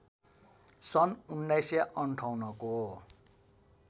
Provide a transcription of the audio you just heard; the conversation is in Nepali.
सन् १९५८ को